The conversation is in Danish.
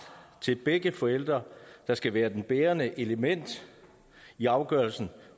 til begge forældre der skal være det bærende element i afgørelsen